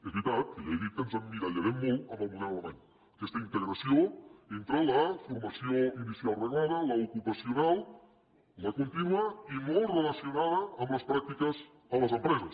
és veritat que ja he dit que ens emmirallarem molt en el model alemany aquesta integració entre la formació inicial reglada l’ocupacional la contínua i molt relacionada amb les pràctiques a les empreses